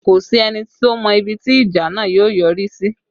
Kò sí ẹni tó mọ ibi tí ìjà náà yóò yọrí sí